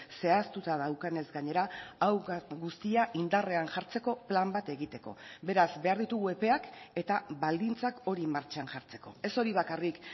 zehaztuta daukanez gainera hau guztia indarrean jartzeko plan bat egiteko beraz behar ditugu epeak eta baldintzak hori martxan jartzeko ez hori bakarrik